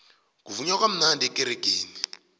kuvunywa kamnandi ekeregeni